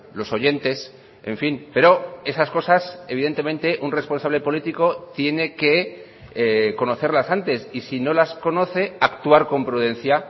los oyentes en fin pero esas cosas evidentemente un responsable político tiene que conocerlas antes y si no las conoce actuar con prudencia